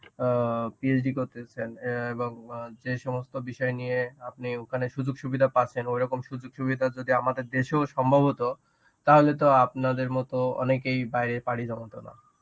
অ্যাঁ PhD করতেছেন অ্যাঁ এবং যে সমস্ত বিষয় নিয়ে আপনি ওখানে সুযোগ সুবিধা পাচ্ছেন ওইরকম সুযোগ সুবিধা যদি আমাদের দেশেও সম্ভব হতো তাহলে তো আপনাদের মতো অনেকেই বাইরে পাড়ি জমাতো না.